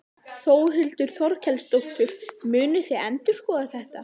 Þórhildur Þorkelsdóttir: Munið þið endurskoða þetta?